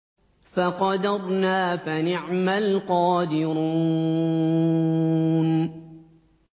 فَقَدَرْنَا فَنِعْمَ الْقَادِرُونَ